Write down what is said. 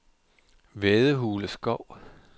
Vædehule Skov